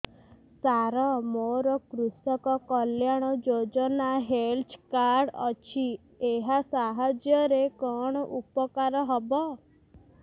ସାର ମୋର କୃଷକ କଲ୍ୟାଣ ଯୋଜନା ହେଲ୍ଥ କାର୍ଡ ଅଛି ଏହା ସାହାଯ୍ୟ ରେ କଣ ଉପକାର ହବ